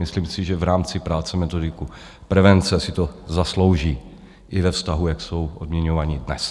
Myslím si, že v rámci práce metodiků prevence si to zaslouží i ve vztahu, jak jsou odměňováni dnes.